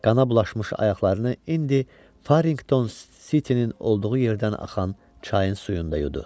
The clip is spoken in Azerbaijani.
Qana bulaşmış ayaqlarını indi Farringdon City-nin olduğu yerdən axan çayın suyunda yudu.